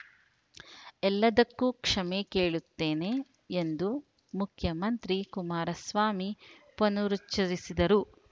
ಎಲ್ಲದ್ದಕ್ಕೂ ಕ್ಷಮೆ ಕೇಳುತ್ತೇನೆ ಎಂದು ಮುಖ್ಯಮಂತ್ರಿ ಕುಮಾರಸ್ವಾಮಿ ಪನರುಚ್ಛರಿಸಿದರು